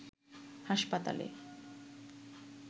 হাসপাতালে